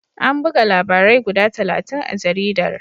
An buga labarai guda talatin a jaridar.